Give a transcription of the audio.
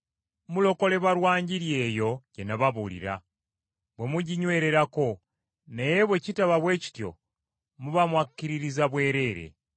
Mulokolebwa lwa Njiri eyo gye nababuulira, bwe muginywererako, naye bwe kitaba bwe kityo muba mwakkiririza bwereere.